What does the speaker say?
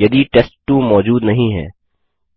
यदि टेस्ट2 मौजूद नहीं है